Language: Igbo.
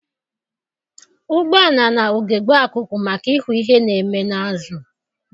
Ụgbọala na- ugegbe akụkụ maka ịhụ ihe na-eme n'azụ.